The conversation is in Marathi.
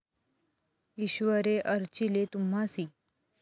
ईश्वरे अर्चिले तुम्हासी ।